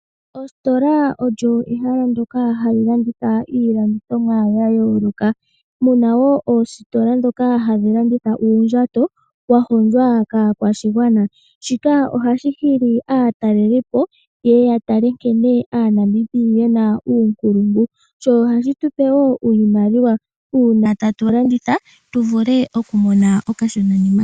Ositola olyo ehala ndoka hali landitha iilandithomwa ya yooloka, muna wo oositola ndhoka hadhi landitha uundjato wa hondjwa kaakwashigwana. Shika ohashi hili aataleli po yeye ya tale nkene aaNamibia yena uunkulungu, sho ohashi tu pe wo iimaliwa, uuna tatu landitha tu vule okumona okashona nima.